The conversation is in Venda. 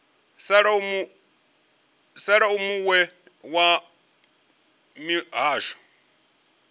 sala u muwe wa mihasho